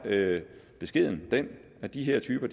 beskeden den at de her typer